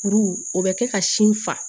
Kuru o bɛ kɛ ka sin fa